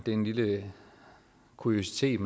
en lille kuriositet